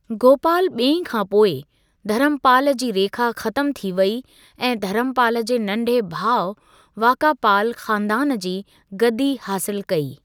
गोपाल ॿिएं खां पोइ, धर्मपाल जी रेखा ख़तमु थी वेई ऐं धर्मपाल जे नंढे भाउ वाकापाल ख़ानदान जी गद्दी हासिल कई।